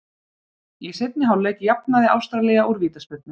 Í seinni hálfleik jafnaði Ástralía úr vítaspyrnu.